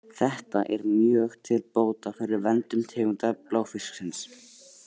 Þetta er mjög til bóta fyrir verndun tegunda bláfisksins.